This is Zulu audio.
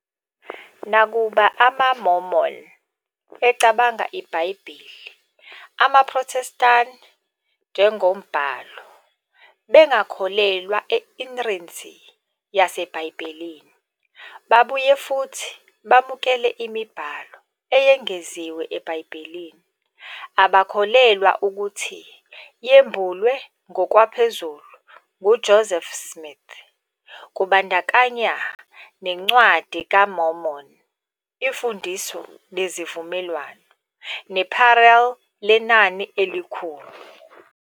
Nakuba amaMormon cabanga iBhayibheli amaProthestani njengoba umbhalo, bengakholelwa e inerrancy waseBhayibhelini. Babuye futhi bamukela imibhalo eyengeziwe eBhayibhelini abakholelwa ukuthi yembulwe ngokwaphezulu nguJoseph Smith, kubandakanya "neNcwadi kaMormoni", "iMfundiso neziVumelwano", "neParele Lenani Elikhulu".